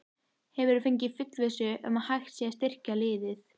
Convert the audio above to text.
Hefurðu fengið fullvissu um að hægt sé að styrkja liðið?